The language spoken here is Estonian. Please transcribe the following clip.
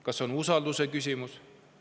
Kas see on usalduse küsimus?